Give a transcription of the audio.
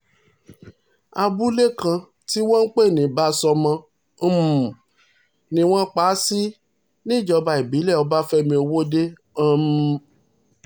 abúlé kan tí wọ́n ń pè ní báṣọ́mọ um ni wọ́n pa á sí níjọba ìbílẹ̀ ọbáfẹ́mi ọwọ́de um